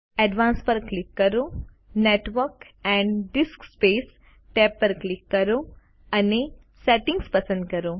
advanced પર click કરો network and disk space tab પર ક્લિક કરો અને સેટિંગ્સ પસંદ કરો